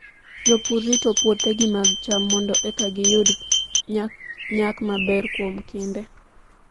Jopur rito puothegi mag cham mondo eka giyud nyak maber kuom kinde.